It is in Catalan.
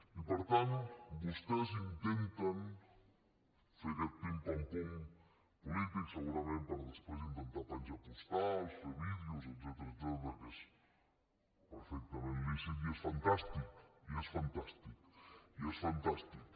i per tant vostès intenten fer aquest pim pam pum polític segurament per després intentar penjar postals fer vídeos etcètera que és perfectament lícit i és fantàstic i és fantàstic i és fantàstic